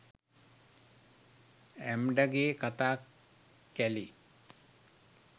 ඇම්ඩගෙ කතා කැලේ.